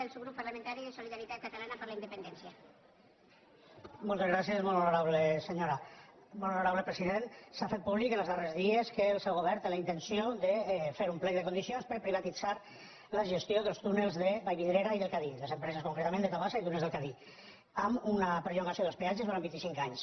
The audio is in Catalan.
molt honora·ble president s’ha fet públic en els darrers dies que el seu govern té la intenció de fer un plec de condici·ons per a privatitzar la gestió dels túnels de vallvidre·ra i del cadí les empreses concretament de tabasa i túnels del cadí amb una perllongació dels peatges durant vint·i·cinc anys